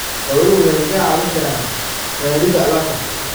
Xooluhu waxay kaa caawin karaan raridda alaabta.